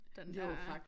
Den der